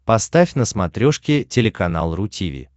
поставь на смотрешке телеканал ру ти ви